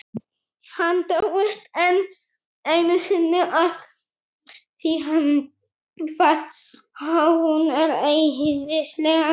Hann dáist enn einu sinni að því hvað hún er æðislega skýr.